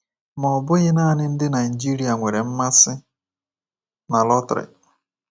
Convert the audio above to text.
Ma ọ bụghị nanị ndị Naịjirịa nwere mmasị na lọtrị.